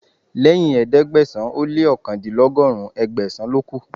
Lẹ́yìn ẹ̀ẹ́dẹ́gbẹ̀sán ó lé òkàndínlọ́gọ́rùn, Ẹgbẹ̀sàn ló kù